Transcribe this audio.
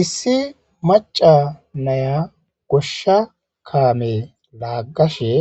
Issi macca naya goshshsa kame lagashe